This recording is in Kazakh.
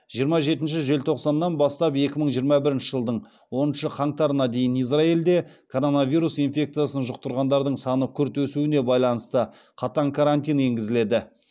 жиырма жетінші желтоқсаннан бастап екі мың жиырма бірінші жылдың оныншы қаңтарына дейін израильде коронавирус инфекциясын жұқтырғандардың саны күрт өсуіне байланысты қатаң карантин енгізіледі